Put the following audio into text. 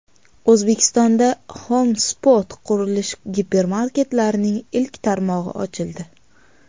O‘zbekistonda Home Spot qurilish gipermarketlarining ilk tarmog‘i ochildi.